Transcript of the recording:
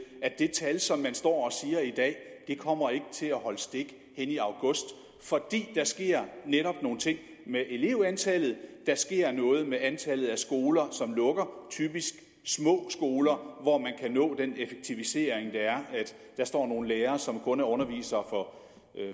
at det tal som man står og siger i dag ikke kommer til at holde stik ind i august fordi der netop sker nogle ting med elevantallet der sker noget med antallet af skoler som lukker typisk små skoler hvor man kan nå den effektivisering der er der står nogle lærere som kun er undervisere for